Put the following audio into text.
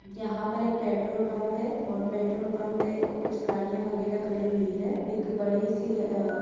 यहाँ पर एक पेट्रोल पम्प है और पेट्रोल पम्प पे कुछ गाड़ियाँ वगेरा खड़ी हुई है एक बड़ी सी ह-ह--